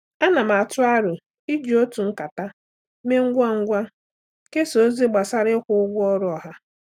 Ana m atụ aro iji otu nkata mee ngwa ngwa kesaa ozi gbasara ịkwụ ụgwọ ọrụ ọha.